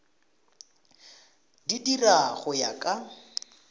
di dira go ya ka